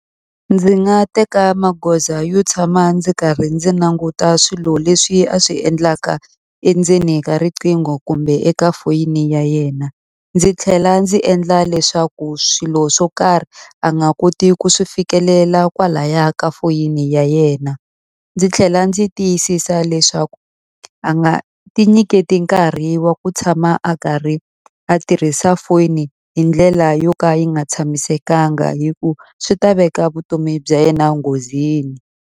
Ndzi nga teka magoza yo tshama ndzi karhi ndzi languta swilo leswi a swi endlaka endzeni ka riqingho kumbe eka foyini ya yena. Ndzi tlhela ndzi endla leswaku swilo swo karhi a nga koti ku swi fikelela kwalahaya ka foyini ya yena. Ndzi tlhela ndzi tiyisisa leswaku a nga ti nyiketi nkarhi wa ku tshama a karhi a tirhisa foni hi ndlela yo ka yi nga tshamisekanga hi ku swi ta veka vutomi bya yena enghozini.